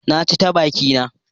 Na ci ta bakina.